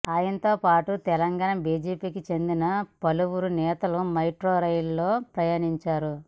ఆయనతో పాటు తెలంగాణ బీజేపీకి చెందిన పలువురు నేతలు మెట్రో రైల్లో ప్రయాణించారు